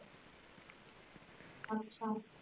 ਅੱਛਾ